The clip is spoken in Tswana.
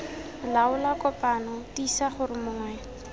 laola kopano tiisa gore mongwe